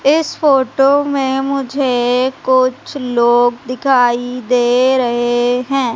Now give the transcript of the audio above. इस फोटो में मुझे कुछ लोग दिखाई दे रहे हैं।